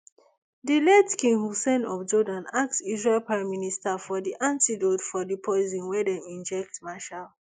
di late king hussein of jordan ask israel prime minister for di antidote for di poison wey dem inject meshaal